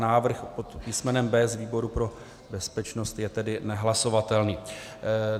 Návrh pod písmenem B z výboru pro bezpečnost tedy je nehlasovatelný.